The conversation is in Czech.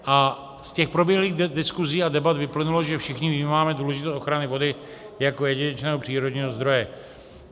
A z těch proběhlých diskusí a debat vyplynulo, že všichni vnímáme důležitost ochrany vody jako jedinečného přírodního zdroje.